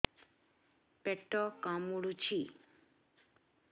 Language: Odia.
ପେଟ କାମୁଡୁଛି